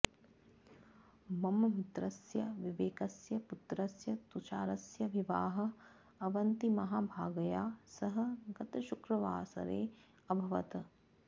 मम मित्रस्य विवेकस्य पुत्रस्य तुषारस्य विवाहः अवन्तिमहाभागया सह गतशुक्रवासरे अभवत्